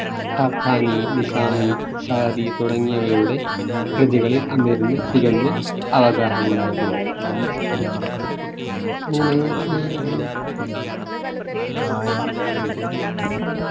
Khaqani Nizami Saadi തുടങ്ങിയവയുടെ കൃതികളിൽ അമീറിന് തികഞ്ഞ അവഗാഹമുണ്ടായിരുന്നു. അങ്ങനെ ആഹ്